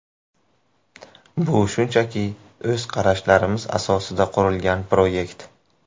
Bu shunchaki o‘z qarashlarimiz asosida qurilgan proyekt.